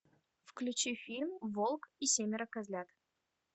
включи фильм волк и семеро козлят